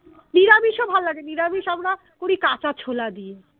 নিরামিষ ও ভাল লাগে নিরামিষ আমরা করি কাঁচা ছোলা দিয়ে